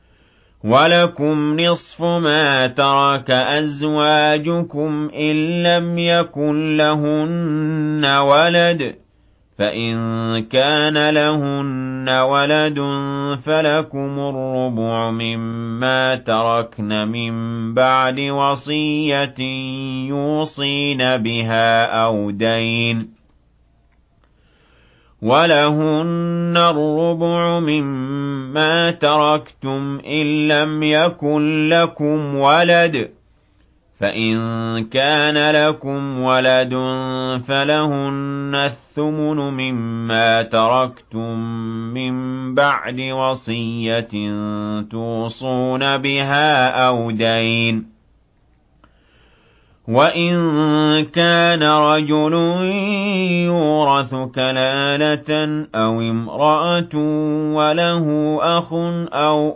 ۞ وَلَكُمْ نِصْفُ مَا تَرَكَ أَزْوَاجُكُمْ إِن لَّمْ يَكُن لَّهُنَّ وَلَدٌ ۚ فَإِن كَانَ لَهُنَّ وَلَدٌ فَلَكُمُ الرُّبُعُ مِمَّا تَرَكْنَ ۚ مِن بَعْدِ وَصِيَّةٍ يُوصِينَ بِهَا أَوْ دَيْنٍ ۚ وَلَهُنَّ الرُّبُعُ مِمَّا تَرَكْتُمْ إِن لَّمْ يَكُن لَّكُمْ وَلَدٌ ۚ فَإِن كَانَ لَكُمْ وَلَدٌ فَلَهُنَّ الثُّمُنُ مِمَّا تَرَكْتُم ۚ مِّن بَعْدِ وَصِيَّةٍ تُوصُونَ بِهَا أَوْ دَيْنٍ ۗ وَإِن كَانَ رَجُلٌ يُورَثُ كَلَالَةً أَوِ امْرَأَةٌ وَلَهُ أَخٌ أَوْ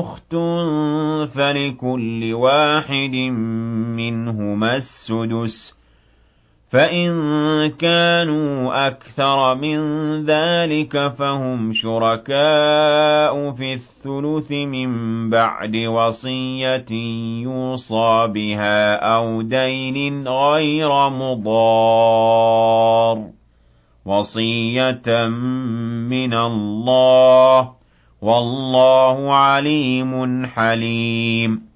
أُخْتٌ فَلِكُلِّ وَاحِدٍ مِّنْهُمَا السُّدُسُ ۚ فَإِن كَانُوا أَكْثَرَ مِن ذَٰلِكَ فَهُمْ شُرَكَاءُ فِي الثُّلُثِ ۚ مِن بَعْدِ وَصِيَّةٍ يُوصَىٰ بِهَا أَوْ دَيْنٍ غَيْرَ مُضَارٍّ ۚ وَصِيَّةً مِّنَ اللَّهِ ۗ وَاللَّهُ عَلِيمٌ حَلِيمٌ